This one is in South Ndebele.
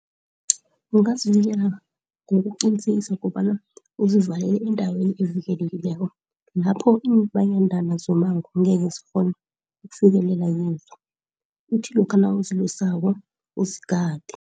ngokuqinisekisa kobana uzivalele endaweni evikelekileko. Lapho iimbandana zomango ngekezikghone ukufikelela kizo. Uthi lokha nawuzilusako uzigade.